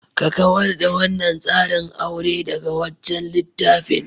Ka kawar da wannan tsarin aure daga wancan littafin.